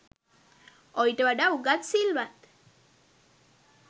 ඔයිට වඩා උගත් සිල්වත්